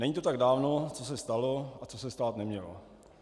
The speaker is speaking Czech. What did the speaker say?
Není to tak dávno, co se stalo a co se stát nemělo.